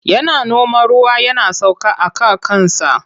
Yana noma ruwa yana sauka aka kansa.